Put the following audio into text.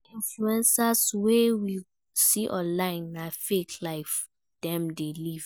Many influencers wey we see online na fake life dem de live